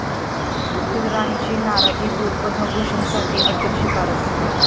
फुलराणी'ची नाराजी दूर, 'पद्मभूषण'साठी अखेर शिफारस